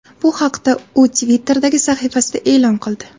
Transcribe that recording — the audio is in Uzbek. Bu haqda u Twitter’dagi sahifasida e’lon qildi .